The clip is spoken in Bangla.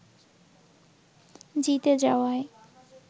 জিতে যাওয়ায়